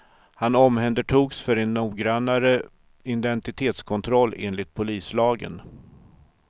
Han omhändertogs för en noggrannare identitetskontroll enligt polislagen.